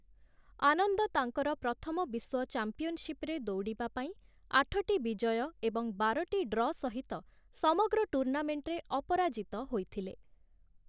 ଆନନ୍ଦ ତାଙ୍କର ପ୍ରଥମ ବିଶ୍ୱ ଚାମ୍ପିଅନଶିପ୍ ରେ ଦୌଡ଼ିବା ପାଇଁ ଆଠଟି ବିଜୟ ଏବଂ ବାରଟି ଡ୍ର ସହିତ ସମଗ୍ର ଟୁର୍ଣ୍ଣାମେଣ୍ଟରେ ଅପରାଜିତ ହୋଇଥିଲେ ।